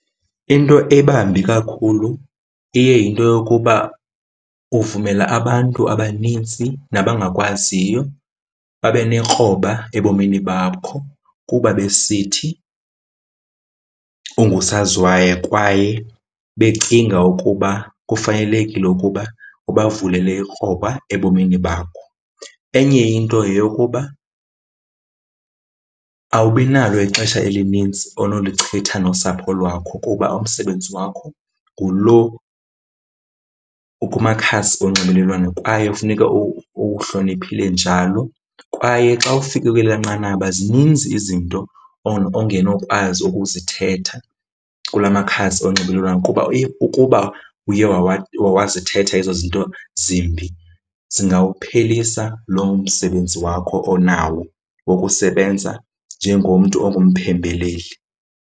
Into ebambi kakhulu iye yinto yokuba uvumela abantu abanintsi nabangakwaziyo babe nekroba ebomini bakho kuba besithi ungusaziwayo kwaye becinga ukuba kufanelekile ukuba ubavulele ikroba ebomini bakho. Enye into yeyokuba awubi nalo ixesha elinintsi onolichitha nosapho lwakho kuba umsebenzi wakho ngulo ukumakhasi onxibelelwano kwaye kufuneka uwuhloniphile njalo. Kwaye xa ufike kwelaa nqanaba zininzi izinto ongenokwazi ukuzithetha kula makhasi onxibelelwano kuba ukuba uye wazithetha ezo zinto zimbi, zingawuphelisa loo msebenzi wakho onawo wokusebenza njengomntu ongumphembeleli.